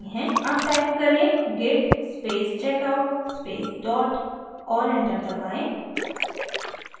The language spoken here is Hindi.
अब type करें: git space checkout space dot और enter दबाएँ